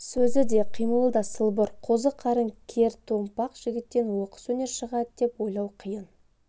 сөзі де қимылы да сылбыр қозы қарын кертомпақ жігіттен оқыс өнер шығады деп ойлау қиын